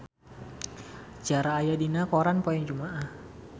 Ciara aya dina koran poe Jumaah